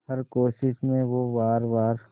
हर कोशिश में हो वार वार